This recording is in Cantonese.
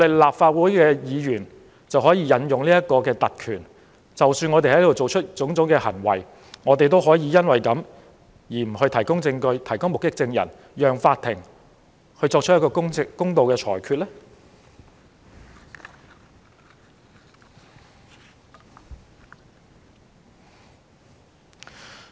立法會議員是否可以行使特權，以致無須就我們在議會的種種行為提供證據或目擊證人，令法庭無法作出公道的裁決？